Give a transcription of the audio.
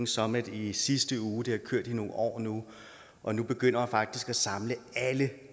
summit i sidste uge det har kørt i nogle år nu og nu begynder man faktisk at samle alle